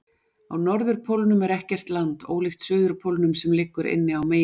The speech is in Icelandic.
Á norðurpólnum er ekkert land, ólíkt suðurpólnum sem liggur inni á meginlandi.